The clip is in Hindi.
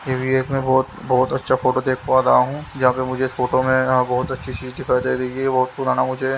ये एक मैं बहुत बहुत अच्छा फोटो देख पा रहा हूँ जहाँ पे मुझे फोटो में यहाँ बहुत अच्छी चीज दिखाई दे रही है बहुत पुराना मुझे--